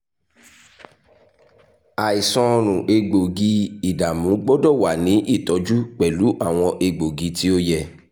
ṣe itọju um atilẹyin ni irisi omi iyọ ti ọrùn um awọn tabulẹti um egboogi-idamu ati awọn tabulẹti egboogi-idamu